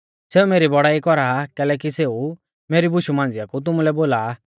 सेऊ मेरी बौड़ाई कौरा आ कैलैकि सेऊ मेरी बुशु मांझ़िआ कु तुमुलै बोला आ